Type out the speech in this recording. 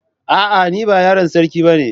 A'a ni ba yaron sarki bane.